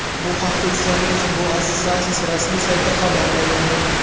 Bu haqda Islandiya futbol assotsiatsiyasi rasmiy saytida xabar berildi .